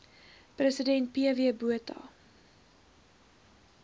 president pw botha